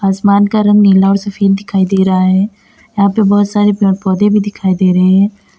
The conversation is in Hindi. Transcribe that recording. आसमान का रंग नीला और सफेद दिखाई दे रहा है यहां पे बहोत सारे पेड़ पौधे भी दिखाई दे रहे--